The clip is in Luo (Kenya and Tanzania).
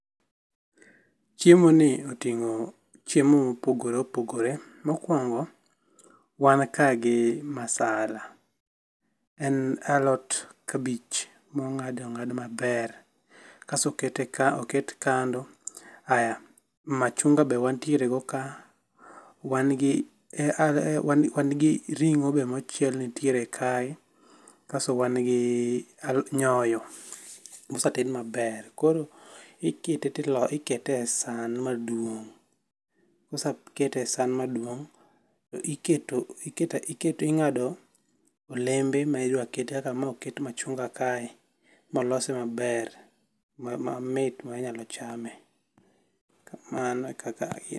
Chiemoni oting'o chiemo ma opogore opogore. Mokuongo wan ka gi masaLa, en alot kabich mong'ad ong'ad maber, kasto okete oket kando, ah machunga be wantiere godo ka wan gi wan gi ring'o be mochiel nitiere kae kasto wan gi nyoyo moseted maber. Kaeto ikete e san maduong' kosekete esan maduong' iketom ikto ing'ado olembe ma idwa ket kaka ma oket machunga kae molose maber mamit ma inyalo chame. Mano e kaka otim